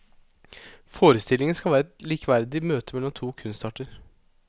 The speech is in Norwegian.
Forestillingen skal være et likeverdig møte mellom to kunstarter.